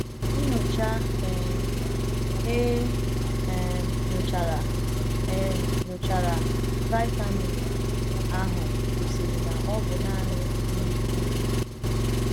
Nnyocha um e um nyochara “ um nyochara “ vitamin ” ahụ gosiri na ọ bụ nanị mmiri nnu.